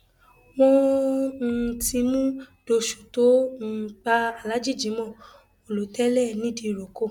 wọn um ti mú dóṣù tó um pa aláàjì jimoh olótẹẹlì nìdírókò